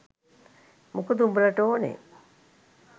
මොකද උඹලට ඕනෙ